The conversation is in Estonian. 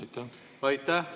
Aitäh!